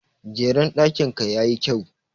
Jeren ɗakin ka ya yi kyau.